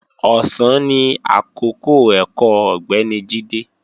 Ọ̀sán ni àkọ́kọ́ ẹ̀kọ́ Ọ̀gbẹ́ni Jídé